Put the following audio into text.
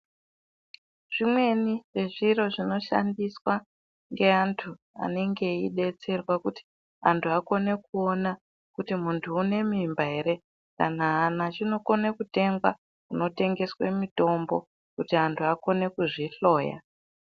Zvimweni zvezviro zvinoshandiswa ngeantu anenge veidetserwa kuti antu akone kuona kuti muntu une mimba ere kana aana chinokone kutengwa kunotengeswe mitombo kuti antu akone kuzvihloya.